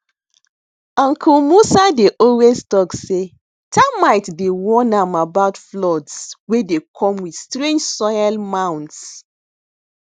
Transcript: uncle musa dey always talk sey termite dey warn am about floods wey de come with strange soil mounds